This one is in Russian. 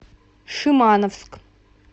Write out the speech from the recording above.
шимановск